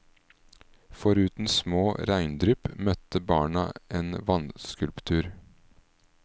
Foruten små regndrypp møtte barna en vannskulptur.